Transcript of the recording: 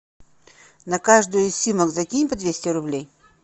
на каждую из симок закинь по двести рублей